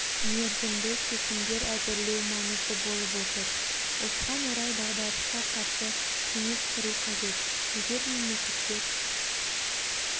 мерзімді шешімдер әзірлеу маңызды болып отыр осыған орай дағдарысқа қарсы кеңес құру қажет егер мемлекеттер